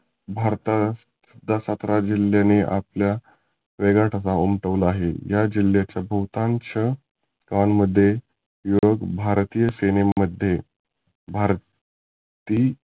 भारतात त्या सतरा जिल्ह्याने आपला वेगळा ठसा उमठवला आहे. या जिल्ह्याच्या बहुतांश गावंमध्ये युरोप भारतीय सेने मध्ये भारत ती.